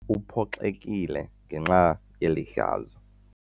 Uphoxekile ngenxa yeli hlazo.